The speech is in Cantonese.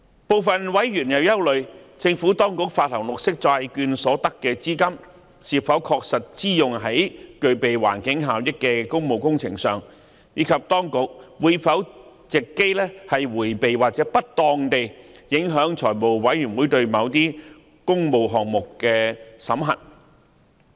部分委員憂慮，政府當局發行綠色債券所得的資金是否確實支用在具備環境效益的工務工程上，以及當局會否藉機迴避或不當地影響財務委員會對某些工務項目的審核。